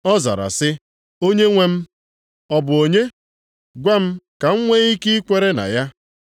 Ọ zara sị, “Onyenwe m, ọ bụ onye? Gwa m ka m nwe ike ikwere na ya.”